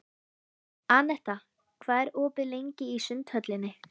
Anetta, hvað er opið lengi í Sundhöllinni?